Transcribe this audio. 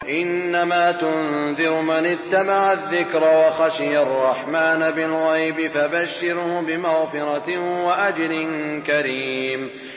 إِنَّمَا تُنذِرُ مَنِ اتَّبَعَ الذِّكْرَ وَخَشِيَ الرَّحْمَٰنَ بِالْغَيْبِ ۖ فَبَشِّرْهُ بِمَغْفِرَةٍ وَأَجْرٍ كَرِيمٍ